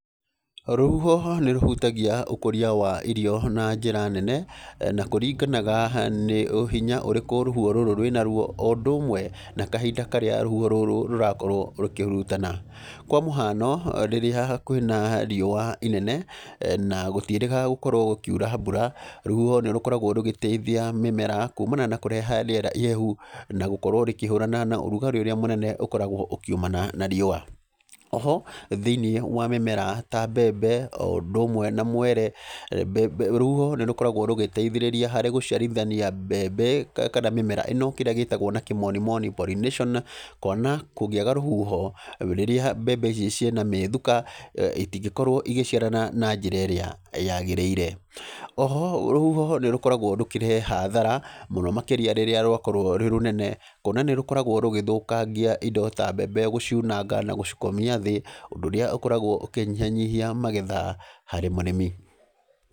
Rũhuho nĩ rũhutagia ũkũria wa irio na njĩra nene, na kũringanaga nĩ hinya ũrĩkũ rũhuho rũrũ rwĩna guo, o ũndũ ũmwe na kahinda karĩa rũhuho rũrũ rũrakorwo rũkĩhurutana. Kwa mũhano, rĩrĩa kwĩna riũa inene, na gũtiĩrĩga gũkorwo gũkiura mbura, rũhuho nĩ rũkoragwo rũgĩteithia mĩmera, kumana na kũreha rĩera ihehu, na gũkorwo rĩkĩhũrana na rugarĩ ũrĩa mũnene ũkoragwo ũkiumana na riũa. Oho, thĩiniĩ wa mĩmera ta mbembe, o ũndũ ũmwe na mwere, mbembe rũhuho nĩ rũkoragwo rũgĩteithĩrĩria harĩ gũciarithania mbembe kana mĩmera kana mĩmera ĩno, kĩrĩa gĩtagwo na kĩmonimoni pollination. Kuona kũngĩaga rũhuho, rĩrĩa mbembe ici ciĩna mĩthuka, itingĩkorwo igĩciarana na njĩra ĩrĩa yagĩrĩire. Oho rũhuho nĩ rũkoragwo rũkĩreha hathara, mũno makĩria rĩrĩa rwakorwo rwĩ rũnene, kuona nĩ rũkoragwo rũgĩthũkangia indo ta mbembe gũciunanga na gũcikomia thĩ, ũndũ ũrĩa ũkoragwo ũkĩnyihanyihia magetha harĩ mũrĩmi.